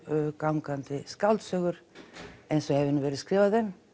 gangandi skáldsögur eins og hefur nú verið skrifað um